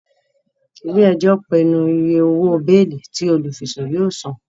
Ile-ẹjọ pinnu ìyè òwò beeli tí olufisun yóò sàn